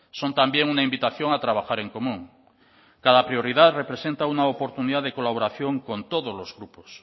son también una invitación a trabajar en común cada prioridad representa una oportunidad de colaboración con todos los grupos